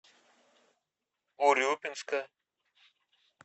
урюпинска